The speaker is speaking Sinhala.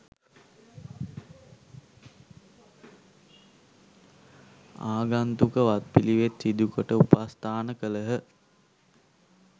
ආගන්තුක වත් පිළිවෙත් සිදුකොට උපස්ථාන කළහ.